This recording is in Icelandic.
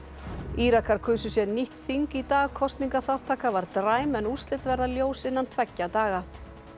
Írakar kusu sér nýtt þing í dag kosningaþáttaka var dræm en úrslit verða ljós innan tveggja daga